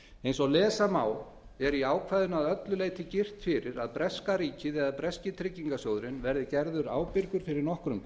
eins og lesa má er í ákvæðinu að öllu leyti girt fyrir að breska ríkið eða breski tryggingarsjóðurinn verði gerður ábyrgur fyrir nokkrum